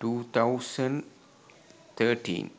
2013